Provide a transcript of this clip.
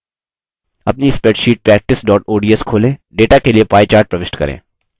अपनी spreadsheet practice ods खोलें